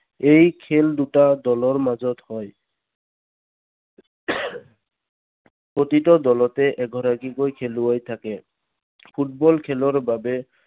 এই খেল দুটা দলৰ মাজত হয় প্ৰতিটো দলতে এগৰাকীকৈ খেলুৱৈ থাকে। ফুটবল খেলৰ বাবে